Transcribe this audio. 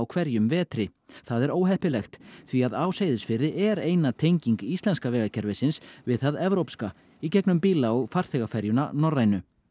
hverjum vetri það er óheppilegt því á Seyðisfirði er eina tenging íslenska vegakerfisins við það evrópska í gegnum bíla og farþegaferjuna Norrænu